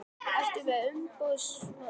Ertu með umboðsmann?